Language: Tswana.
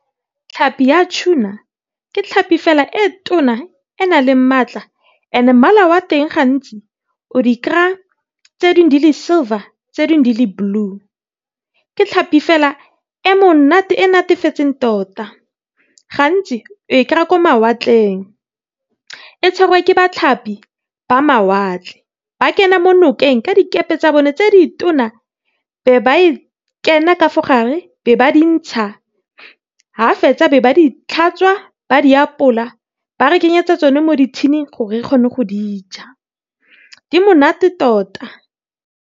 Tlhapi ya tuna ke tlhapi fela e tona e nang le maatla, mmala wa teng gantsi o di kry-a di le silver tse dingwe di le blue. Ke tlhapi fela e monate e natefeseng tota, gantsi o e kry-a ko mawatleng. E tshwarwa ke batlhapi ba mawatle ba kena mo nokeng ka dikepe tsa bone tse ditona, ba be ba e kena kafa gare be ba entsha. Ga fetsa be ba ditlhatswa ba re kenyetsa tsone mo di tin-ing gore re kgone go dija di monate tota.